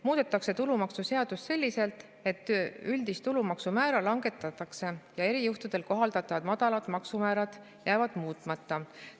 Muudetakse tulumaksuseadust selliselt, et üldist tulumaksumäära langetatakse ja erijuhtudel kohaldatavad madalad maksumäärad jäävad muutmata.